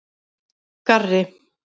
Garri